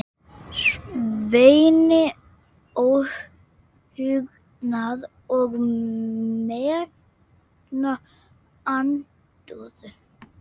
Sveini óhugnað og megna andúð.